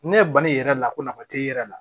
Ne ye bani yɛrɛ la ko nafa t'e yɛrɛ la